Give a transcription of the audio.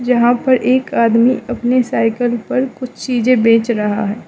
यहां पर एक आदमी अपनी साइकिल पर कुछ चीज़ें बेच रहा है।